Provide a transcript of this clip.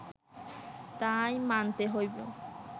তাই মানতে হইব